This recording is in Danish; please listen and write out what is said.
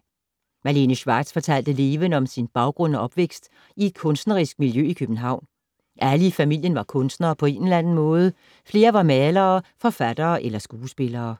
Malene Schwartz fortalte levende om sin baggrund og opvækst i et kunstnerisk miljø i København. Alle i familien var kunstnere på en eller anden måde, flere var malere, forfattere eller skuespillere.